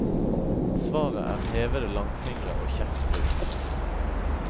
Svaret er hevede langfingre og kjeftbruk.